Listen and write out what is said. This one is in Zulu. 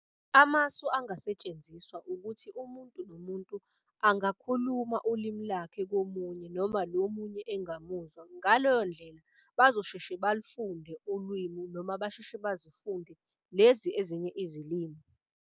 Amasu angasetshenziswa ukuthi umuntu nomuntu angakhuluma ulimi lakhe komunye noma lo omunye engamuzwa. Ngaleyo ndlela bazosheshe balufunde ulwimi noma basheshe bazifunde lezi ezinye izilimi.